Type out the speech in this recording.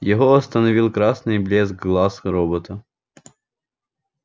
его остановил красный блеск глаз робота